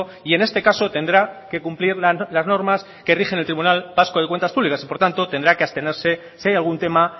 y en este caso tendrá que cumplir las normas que rigen el tribunal vasco de cuentas públicas y por tanto tendrá que abstenerse si hay algún tema